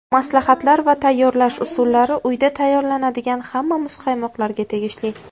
Maslahatlar va tayyorlash usullari uyda tayyorlanadigan hamma muzqaymoqlarga tegishli.